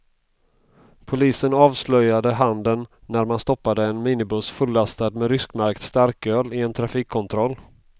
Polisen avslöjade handeln när man stoppade en minibuss fullastad med ryskmärkt starköl i en trafikkontroll.